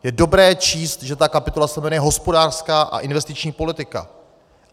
Je dobré číst, že ta kapitola se jmenuje Hospodářská a investiční politika.